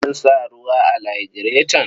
An sa ruwa a lagireton?